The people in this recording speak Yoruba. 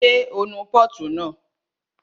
Ṣé o nu pọ́ọ̀tù náà?